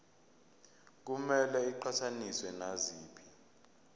kumele iqhathaniswe naziphi